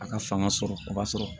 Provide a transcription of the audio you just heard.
A ka fanga sɔrɔ o b'a sɔrɔ